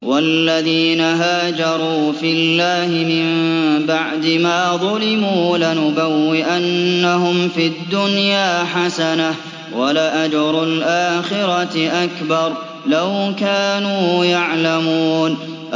وَالَّذِينَ هَاجَرُوا فِي اللَّهِ مِن بَعْدِ مَا ظُلِمُوا لَنُبَوِّئَنَّهُمْ فِي الدُّنْيَا حَسَنَةً ۖ وَلَأَجْرُ الْآخِرَةِ أَكْبَرُ ۚ لَوْ كَانُوا يَعْلَمُونَ